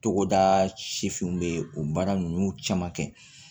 Togoda sifinw bɛ o baara ninnu caman kɛ